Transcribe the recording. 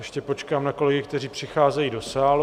Ještě počkám na kolegy, kteří přicházejí do sálu.